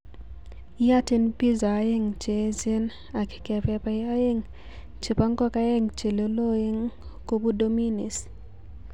Iyoten piza oeng cheejen ak kepepai oeng chebo ngokaeng cheloloeng kobu Dominies